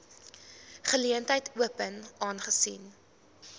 geleentheid open aangesien